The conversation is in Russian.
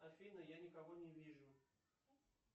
афина я никого не вижу